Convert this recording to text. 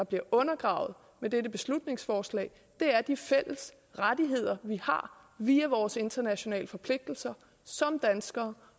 bliver undergravet med dette beslutningsforslag er de fælles rettigheder vi har via vores internationale forpligtelser som danskere